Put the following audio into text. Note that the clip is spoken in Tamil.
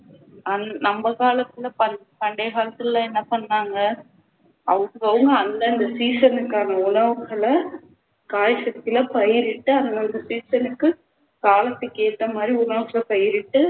நம்ம காலத்துல பண்~ பண்டைய காலத்துல எல்லாம் என்ன பண்ணாங்க அதுக்கு பதிலா அந்தந்த season க்கான உணவுகளை, காய்கறிகளை பயிரிட்டு அந்தந்த season க்கு காலத்துக்கு ஏத்தமாதிரி உணவை பயிரிட்டு